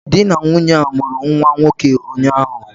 Di na nwunye a mụrụ nwa nwoke ụnyahụ